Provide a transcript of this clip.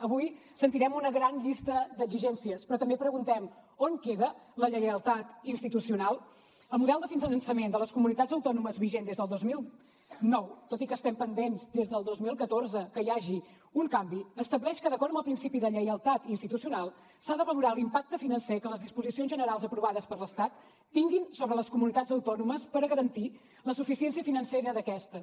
avui sentirem una gran llista d’exigències però també preguntem on queda la lleialtat institucional el model de finançament de les comunitats autònomes vigent des del dos mil nou tot i que estem pendents des del dos mil catorze que hi hagi un canvi estableix que d’acord amb el principi de lleialtat institucional s’ha de valorar l’impacte financer que les disposicions generals aprovades per l’estat tinguin sobre les comunitats autònomes per a garantir la suficiència financera d’aquestes